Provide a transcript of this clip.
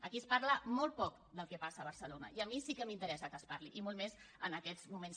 aquí es parla molt poc del que passa a barcelona i a mi sí que m’interessa que es parli i molt més en aquests moments